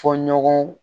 Fɔ ɲɔgɔn